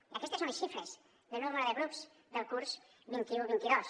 i aquestes són les xifres del nombre de grups del curs vint un vint dos